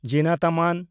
ᱡᱤᱱᱟᱛ ᱟᱢᱟᱱ